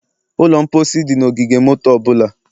Ụlọ mposi dị na ogige moto ọ bụla